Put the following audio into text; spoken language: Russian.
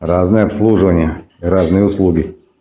разные обслуживания разные услуги